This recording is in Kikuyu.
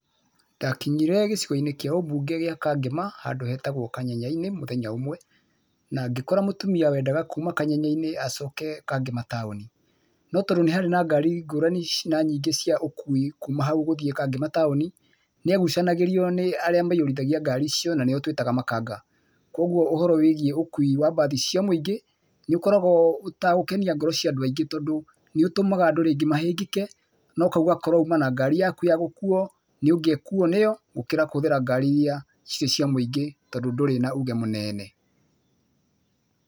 Ndakinyire gĩcigo-inĩ kĩa ũmbunge kĩa Kangema handũ hetagwo Kanyenya-inĩ mũthenya ũmwe, na ngĩkora mũtumia wendaga kuuma Kanyenya-inĩ acooke Kangema taũni. No tondũ nĩ harĩ na ngari ngũrani na nyingĩ cia ũkuui kuuma hau gũthiĩ Kangema taũni, nĩ agucanagĩrio nĩ arĩa maiyũrithagia ngari icio na nĩ o tũĩtaga makanga. Kũoguo ũhoro wĩgiĩ ũkuui wa bathi cia muingĩ nĩ ũkoragũo ũtegũkenia ngoro cia andũ aingĩ tondũ nĩ ũtũmaga andũ rĩngĩ mahĩngĩke, na ũkauga korũo ũma na ngari yaku ya gũkuuo, nĩũngĩakuo nĩyo, gũkĩra kũhũthĩra ngari iria cirĩ cia mũingĩ tondũ ndũrĩ na uuge mũnene.